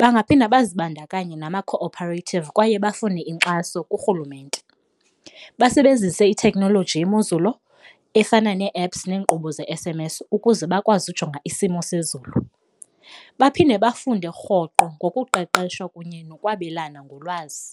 bangaphinda bazibandakanye nama-cooperative kwaye bafune inkxaso kurhulumente. Basebenzise itheknoloji yemozulu efana nee-apps neenkqubo ze-S_M_S ukuze bakwazi ujonga isimo sezulu, baphinde bafunde rhoqo ngokuqeqesha kunye nokwabelana ngolwazi.